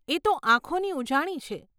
એ તો આંખોની ઉજાણી છે.